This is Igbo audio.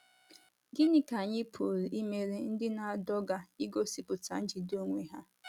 Gịnị ka anyị pụrụ imere ndị na - adọga igosipụta njide onwe ha?